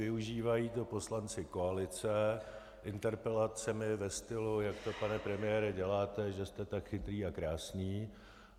Využívají to poslanci koalice interpelacemi ve stylu: Jak to pane premiére děláte, že jste tak chytrý a krásný.